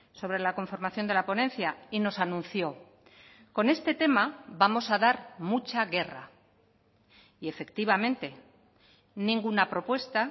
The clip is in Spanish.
sobre la conformación de la ponencia y nos anunció con este tema vamos a dar mucha guerra y efectivamente ninguna propuesta